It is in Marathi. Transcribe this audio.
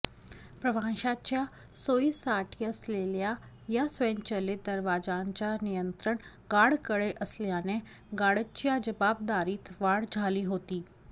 प्रवाशांच्या सोयीसाठी असलेल्या या स्वयंचलित दरवाजांचे नियंत्रण गार्डकडे असल्याने गार्डच्या जबाबदारीत वाढ झाली होती